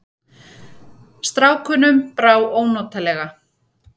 Strákunum brá ónotalega.